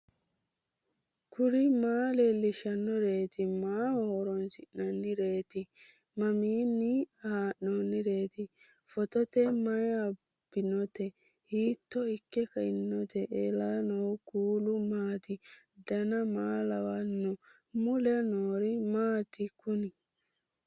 kuri maa leellishannoreeti maaho horoonsi'noonnireeti mamiinni haa'noonni phootooti mayi abbinoote hiito ikke kainote ellannohu kuulu maati dan maa lawannoho mule noori maati kuni